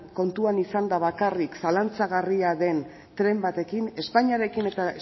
kontuan izanda bakarrik zalantzagarria den tren batekin espainiarekin eta